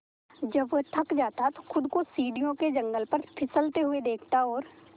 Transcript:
जब वह थक जाता तो खुद को सीढ़ियों के जंगले पर फिसलते हुए देखता और